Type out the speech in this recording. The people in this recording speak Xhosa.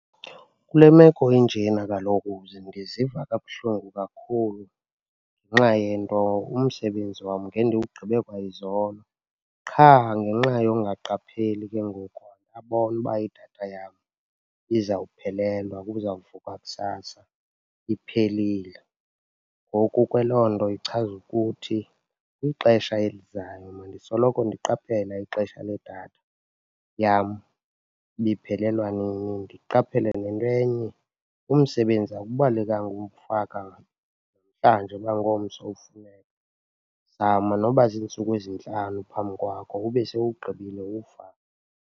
Kule meko injena kaloku ndiziva kabuhlungu kakhulu ngenxa yento umsebenzi wam ngendiwugqibe kwayizolo qha ngenxa yongaqapheli ke ngoku andabona uba idatha yam izawuphelelwa, kuzawuvukwa kusasa iphelile. Ngoku ke loo nto ichaza ukuthi kwixesha elizayo mandisoloko ndiqaphela ixesha ledatha yam uba iphelelwa nini, ndiqaphele nento enye, umsebenzi awubalekanga umfaka uba ngomso ufuneka. Zama noba ziintsuku ezintlanu phambi kwakho ube sewuwugqibile uwufake.